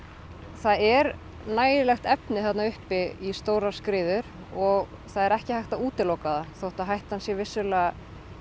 það er nægjanlegt efni þarna uppi í stórar skriður og það er ekki hægt að útiloka það þótt að hættan sé vissulega